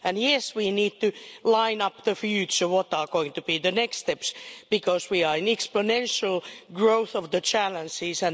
Yes, we need to line up the future, set out what are going to be the next steps, because we are seeing the exponential growth of the challenges.